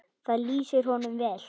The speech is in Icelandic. Það lýsir honum vel.